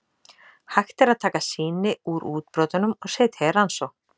Hægt er að taka sýni úr útbrotunum og setja í rannsókn.